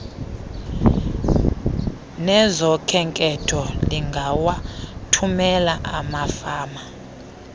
nezokhenketho lingawathumela amafama